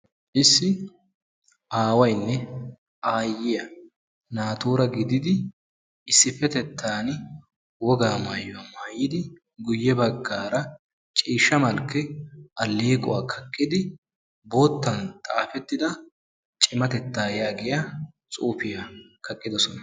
issi aawaynne aayiya naatuura gididdi issipetettan wogaa maayuwa maayidi guye bagaara ciishsha malkke aleequwa kaqqidi sintaara bootta xuufiya be'etees.